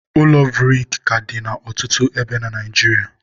ụlọ buriki ka dị na ọtụtụ ebe na Naịjiria